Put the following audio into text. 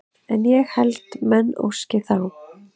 En ég held menn óski þá